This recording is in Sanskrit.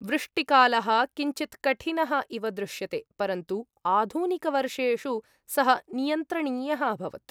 वृष्टिकालः किञ्चित् कठिनः इव दृश्यते, परन्तु आधुनिकवर्षेषु सः नियन्त्रणीयः अभवत्।